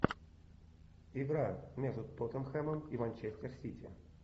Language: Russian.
игра между тоттенхэмом и манчестер сити